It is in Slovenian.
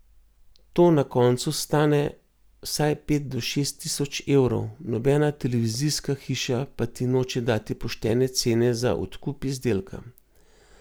To na koncu stane vsaj pet do šest tisoč evrov, nobena televizijska hiša pa ti noče dati poštene cene za odkup izdelka.